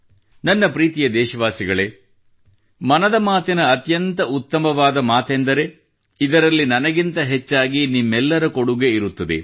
ನನ್ನ ಪ್ರೀತಿಯ ದೇಶವಾಸಿಗಳೇ ಮನದ ಮಾತಿನ ಅತ್ಯಂತ ಉತ್ತಮವಾದ ಮಾತೆಂದರೆ ಇದರಲ್ಲಿ ನನಗಿಂತ ಹೆಚ್ಚಾಗಿ ನಿಮ್ಮೆಲ್ಲರ ಕೊಡುಗೆ ಇರುತ್ತದೆ